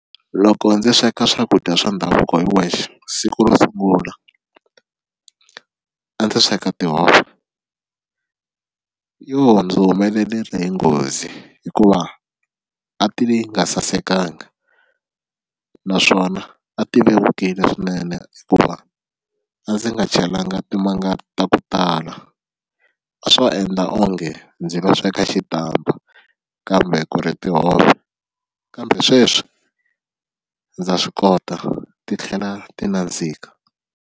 Loko ndzi sweka swakudya swa ndhavuko hi wexe siku ro sungula a ndzi sweka tihove yo ndzi humelerile hi nghozi hikuva a ti nga sasekanga naswona a ti vevukile swinene hikuva a ndzi nga cheliwanga timanga ta ku tala a swo endla onge ndzi nga sweka xitampa kambe ku ri tihove kambe sweswi ndza swi kota titlhela ti nandzika.